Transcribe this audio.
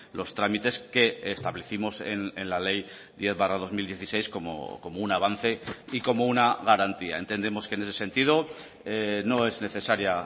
los trámites que establecimos en la ley diez barra dos mil dieciséis como un avance y como una garantía entendemos que en ese sentido no es necesaria